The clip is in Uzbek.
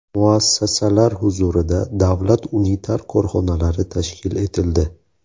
Muassasalar huzurida davlat unitar korxonalari tashkil etildi.